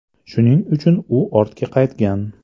Shuning uchun u ortga qaytgan.